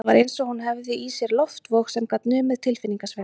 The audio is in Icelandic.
Það var eins og hún hefði í sér loftvog sem gat numið tilfinningasveiflur